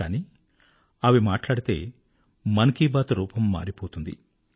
కానీ అవి మాట్లాడితే మన్ కీ బాత్ రూపం మారిపోతుంది